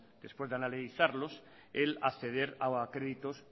después de analizarlos el acceder a créditos